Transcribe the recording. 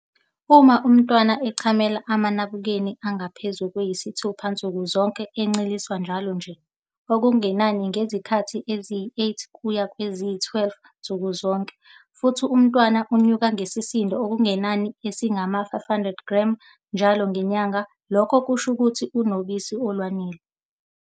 Uma umntwana echamela amanabukeni angaphezu kwayisithupha nsuku zonke, enceliswa njalo nje, okungenani izikhathi eziyisi-8 kuya kweziyi-12 nsuku zonke, futhi umntwana enyuka ngesisindo okungenani esingama-500g njalo ngenyanga, lokho kusho ukuthi unobisi olwanele.